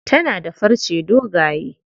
Tana da farce dogaye.